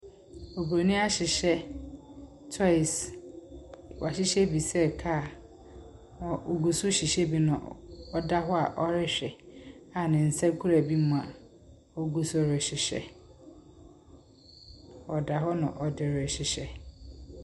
Oburoni ahyehyɛ toes. Wɔahyehyɛ bi sɛ car na ogu so rehyehyɛ bi. Na ɔda hɔ a ɔrehwɛ a ne nsa kura bi mu a ogu so rehyehyɛ. Ɔda hɔ na ɔde rehyehyɛ.